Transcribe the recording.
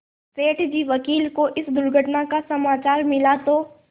सेठ जी वकील को इस दुर्घटना का समाचार मिला तो